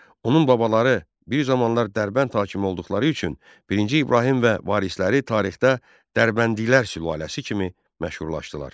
Onun babaları bir zamanlar Dərbənd hakimi olduqları üçün birinci İbrahim və varisləri tarixdə Dərbəndilər sülaləsi kimi məşhurlaşdılar.